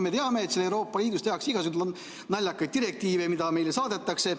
Me teame, et Euroopa Liidus tehakse igasuguseid naljakaid direktiive, mis meile saadetakse.